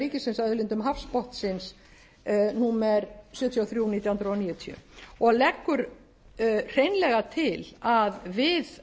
ríkisins að auðlindum hafsbotnsins númer sjötíu og þrjú nítján hundruð níutíu og leggur hreinlega til að við